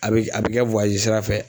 A be a be kɛ sira fɛ